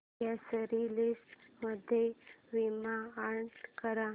grocery list मध्ये Vim add कर